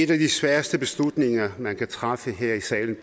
en af de sværeste beslutninger man kan træffe her i salen